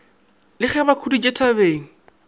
re ge ba khuditše thabeng